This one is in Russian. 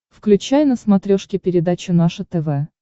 включай на смотрешке передачу наше тв